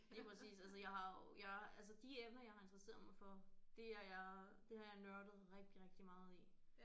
Lige præcis altså jeg har jo jeg altså de emner jeg har interesseret mig for det er jeg det har jeg nørdet rigtig rigtig meget i